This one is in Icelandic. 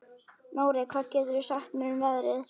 Nóri, hvað geturðu sagt mér um veðrið?